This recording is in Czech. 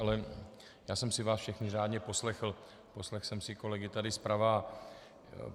Ale já jsem si vás všechny řádně poslechl, poslechl jsem si kolegy tady zprava.